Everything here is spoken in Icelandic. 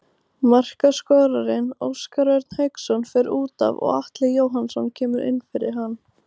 Markaskorarinn Óskar Örn Hauksson fer útaf og Atli Jóhannsson kemur inn fyrir hann.